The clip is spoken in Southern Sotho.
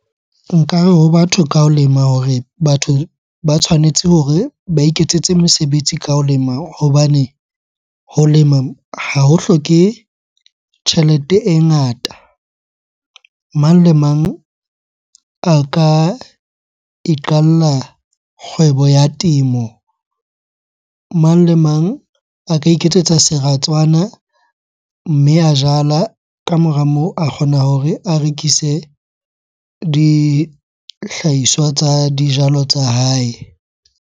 Nkare ho batho ka ho lema hore batho ba tshwanetse hore ba iketsetse mesebetsi ka ho lema hobane ho lema ha ho hloke tjhelete e ngata. Mang le mang a ka iqalla kgwebo ya temo. Mang le mang a ka iketsetsa seratswana, mme a jala, ka mora moo a kgona hore a rekise dihlahiswa tsa dijalo tsa hae.